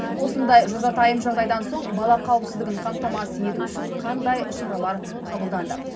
осындай жазатайым жағдайдан соң бала қауіпсіздігін қамтамасыз ету үшін қандай шаралар қабылданды